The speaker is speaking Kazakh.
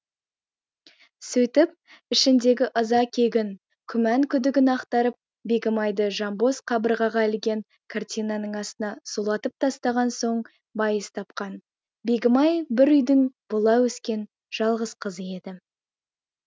сөйтіп ішіндегі ыза кегін күмән күдігін ақтарып бегімайды жанбоз қабырғаға ілген картинаның астына сұлатып тастаған соң байыз тапқан бегімай бір үйдің бұла өскен жалғыз қызы еді